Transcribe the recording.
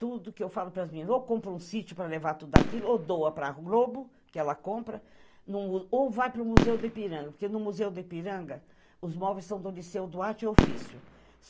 Tudo o que eu falo para as meninas, ou compra um sítio para levar tudo aquilo, ou doa para a Globo, que ela compra, ou vai para o Museu do Ipiranga, porque no Museu do Ipiranga os móveis são do liceu do arte e ofício.